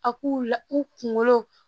A k'u la u kunkolo